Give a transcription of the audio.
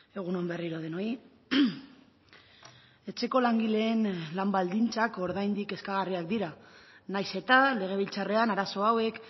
egun on berriro denoi etxeko langileen lan baldintzak oraindik kezkagarriak dira nahiz eta legebiltzarrean arazo hauek